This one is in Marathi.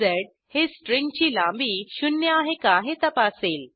झ हे स्ट्रिंगची लांबी शून्य आहे का हे तपासेल